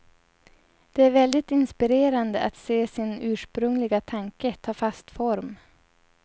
Det är väldigt inspirerande att se sin ursprungliga tanke ta fast form.